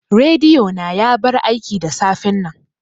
Rediyo na ya bar aiki da safen nan